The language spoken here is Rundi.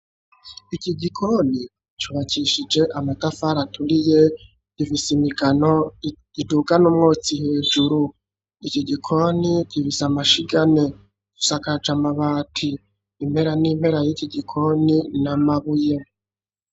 Iki gikoni cubakishije amatafari aturiye gifise imigano idugana umwotsi hejuru, iki gikoni gifise amashiga ane gisakaje amabati impera n'impera y'iki gikoni na mabuye.